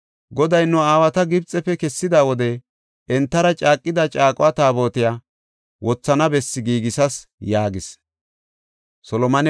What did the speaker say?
Goday nu aawata Gibxefe kessida wode entara caaqida caaqo taabotiya wothana bessi giigisas” yaagis.